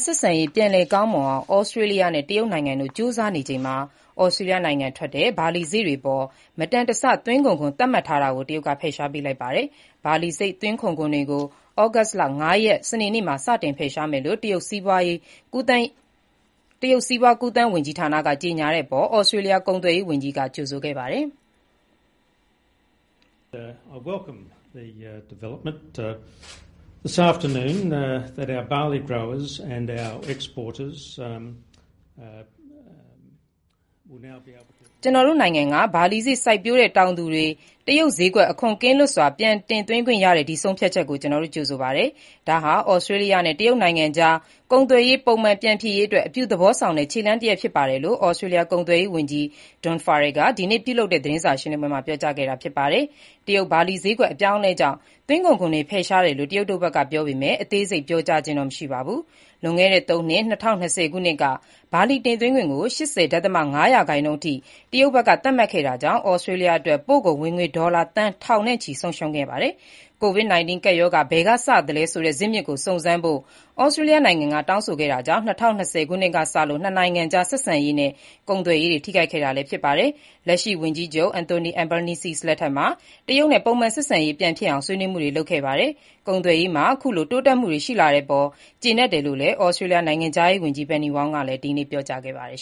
ဆက်ဆံရေး ပြန်လည်ကောင်းမွန်အောင် ဩစတြေးလျနဲ့ တရုတ်နိုင်ငံတို့ ကြိုးစားနေချိန်မှာ ဩစတြေးလျနိုင်ငံထွက် ဘာလီစေ့တွေအပေါ် မတန်တဆ သွင်းကုန်ခွန် သတ်မှတ်ထားတာကို တရုတ်က ဖယ်ရှားပေးလိုက်ပါတယ်။ ဘာလီသွင်းကုန်ခွန်တွေကို August လ ၅ ရက် စနေနေ့မှာ စတင် ဖယ်ရှားမယ်လို့ တရုတ်စီးပွားကူးသန်းဝန်ကြီးဌာနက ကြေညာတဲ့အပေါ် ဩစတြေးလျ ကုန်သွယ်ရေးဝန်ကြီးက ကြိုဆိုပါတယ်။ “ကျနော်တို့နိုင်ငံက ဘာလီစေ့ စိုက်ပျိုးတဲ့တောင်သူတွေ တရုတ်စျေးကွက် အခွန်ကင်းလွတ်စွာ ပြန်တင်သွင်းခွင့်ရတဲ့ ဒီဆုံးဖြတ်ချက်ကို ကျနော် ကြိုဆိုပါတယ်။ ဒါဟာ ဩစတြေးလျနဲ့ တရုတ်နိုင်ငံအကြား ကုန်သွယ်ရေးတွေ ပုံမှန်ပြန်ဖြစ်ရေးအတွက် အပြုသဘောဆောင်တဲ့ ခြေလှမ်းတရပ်ဖြစ်ပါတယ်” လို့ ဩစတြေးလျ ကုန်သွယ်ရေးဝန်ကြီး Don Farrell က ဒီကနေ့ ပြုလုပ်တဲ့ သတင်းစာရှင်းလင်းပွဲမှာ ပြောကြားခဲ့တာဖြစ်ပါတယ်။ တရုတ်ဘာလီဈေးကွက် အပြောင်းအလဲကြောင့် သွင်းကုန်ခွန်တွေ ဖယ်ရှားတယ်လို့ တရုတ်တို့ဖက်က ပြောပေမဲ့ အသေးစိတ်ပြောကြားခြင်းတော့ မရှိပါဘူး။ လွန်ခဲ့တဲ့ ၃ နှစ် ၂၀၂၀ ခုနှစ်က ဘာလီတင်သွင်းခွန်ကို ၈၀.၅% အထိ တရုတ်ဘက်က သတ်မှတ်ခဲ့တာကြောင့် ဩစတြေးလျအတွက် ပို့ကုန်ဝင်ငွေဒေါ်လာသန်းထောင်ချီ ဆုံးရှုံးခဲ့ပါတယ်။ COVID-19 ကပ်ရောဂါ ဘယ်ကစသလဲဆိုတဲ့ ဇစ်မြစ်ကို စုံစမ်းဖို့ ဩစတြေးလျနိုင်ငံက တောင်းဆိုခဲ့တာကြောင့် ၂၀၂၀ ခုနှစ်ကစလို့ ၂ နိုင်ငံကြား ဆက်ဆံရေးနဲ့ ကုန်သွယ်ရေးတွေ ထိခိုက်ခဲ့တာဖြစ်ပါတယ်။ လက်ရှိဝန်ကြီးချုပ် Anthony Albanese လက်ထက်မှာ တရုတ်နဲ့ ပုံမှန်ဆက်ဆံရေး ပြန်ဖြစ်အောင် ဆွေးနွေးမှုတွေ လုပ်ခဲ့ပါတယ်။ ကုန်သွယ်ရေးမှာ ခုလိုတိုးတက်မှုတွေ ရှိလာတဲ့အပေါ် ကျေနပ်တယ်လို့ ဩစတြေးလျ နိုင်ငံခြားရေးဝန်ကြီး Penny Wong ကလည်း ဒီနေ့ပြောကြားပါတယ်